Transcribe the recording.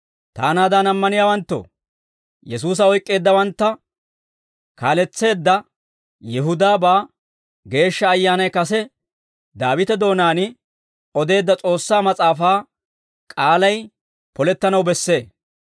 «Taanaadan ammaniyaawanttoo, Yesuusa oyk'k'eeddawantta kaaletseedda Yihudaabaa Geeshsha Ayyaanay kase Daawite doonaan odeedda S'oossaa mas'aafaa k'aalay polettanaw bessee.